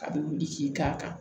A bɛ wuli k'i k'a kan